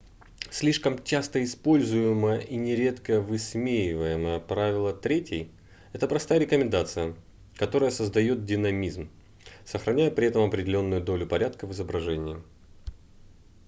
слишком часто используемое и нередко высмеиваемое правило третей это простая рекомендация которая создаёт динамизм сохраняя при этом определённую долю порядка в изображении